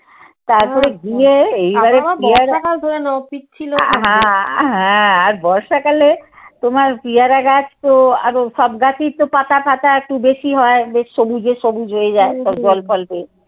তারপরে গিয়ে এইবারে আহা আর বর্ষাকালে তোমার পিয়ারা গাছ তো আর সব গাছেই তো পাতা ফাতা একটু বেশি হয় বেশ সবুজে সবুজ হয়ে যায় সব জল ফল বেশ